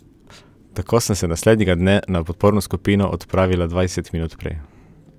Tako sem se naslednjega dne na podporno skupino odpravila dvajset minut prej.